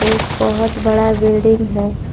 एक बहुत बड़ा बिल्डिंग है।